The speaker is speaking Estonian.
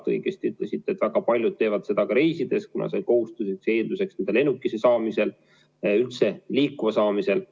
Nagu te õigesti ütlesite, väga paljud teevad seda ka reisides, kuna see on kohustuslik eeldus lennukisse saamisel ja üldse liikuma saamisel.